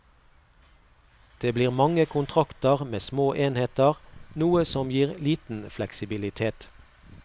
Det blir mange kontrakter med små enheter, noe som gir liten fleksibilitet.